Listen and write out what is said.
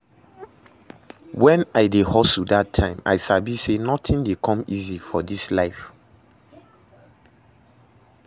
When I dey hustle dat time, I sabi say nothing dey come easy for this life